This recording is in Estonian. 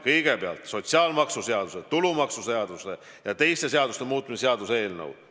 Kõigepealt, sotsiaalmaksuseaduse, tulumaksuseaduse ja teiste seaduste muutmise seaduse eelnõu.